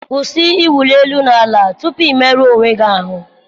Kwụsị ịwụli elu na ala tupu ị merụrụ onwe gị ahụ.